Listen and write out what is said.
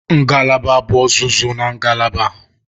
Ngalaba bụ ọzụzụ na ngalaba.